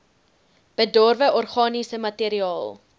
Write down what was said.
bedorwe organiese materiaal